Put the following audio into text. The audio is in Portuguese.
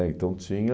Então tinha...